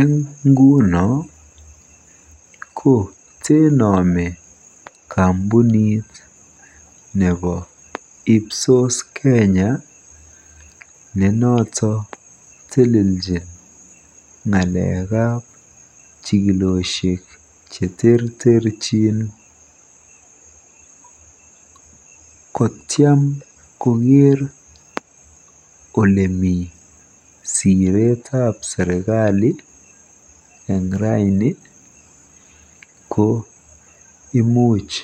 Eng nguno ko tenome kaqmpunitab ipsos ne noto ko teleljin jikilosiek cheterterchin kotiam koker olemi siretab serikali eng ra ko imuch